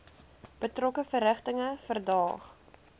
betrokke verrigtinge verdaag